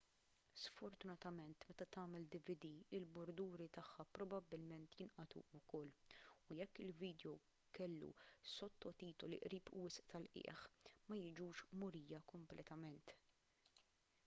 sfortunatament meta tagħmel dvd il-burduri tagħha probabbilment jinqatgħu ukoll u jekk il-vidjow kellu s-sottotitoli qrib wisq tal-qiegħ ma jiġux murija kompletament